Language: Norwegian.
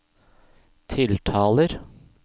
tiltaler